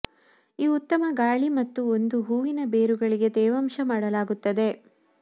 ಈ ಉತ್ತಮ ಗಾಳಿ ಮತ್ತು ಒಂದು ಹೂವಿನ ಬೇರುಗಳಿಗೆ ತೇವಾಂಶ ಮಾಡಲಾಗುತ್ತದೆ